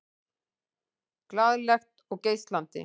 Glaðlegt og geislandi.